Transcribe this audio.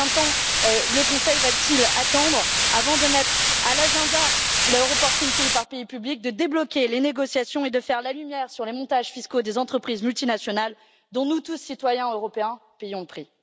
Combien de temps le Conseil va t il attendre avant de mettre à l'agenda la publication de ces informations pays par pays, de débloquer les négociations et de faire la lumière sur les montages fiscaux des entreprises multinationales dont nous tous, citoyens européens, payons le prix?